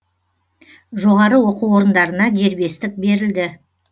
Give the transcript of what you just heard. жоғары оқу орындарына дербестік берілді